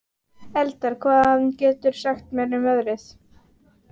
Eldar, hvað geturðu sagt mér um veðrið?